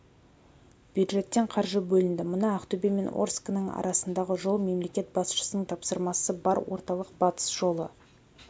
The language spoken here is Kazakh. бюджеттен қаржы бөлінді мына ақтөбе мен орскінің арасындағы жол мемлекет басшысының тапсырмасы бар орталық-батыс жолы